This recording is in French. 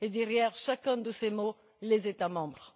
Et derrière chacun de ces mots, les États membres.